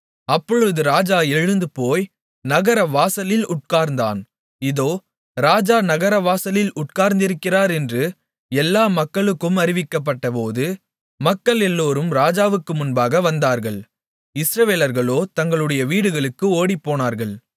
அப்பொழுது ராஜா எழுந்துபோய் நகரவாசலில் உட்கார்ந்தான் இதோ ராஜா நகரவாசலில் உட்கார்ந்திருக்கிறார் என்று எல்லா மக்களுக்கும் அறிவிக்கப்பட்டபோது மக்கள் எல்லோரும் ராஜாவுக்கு முன்பாக வந்தார்கள் இஸ்ரவேலர்களோ தங்களுடைய வீடுகளுக்கு ஓடிப்போனார்கள்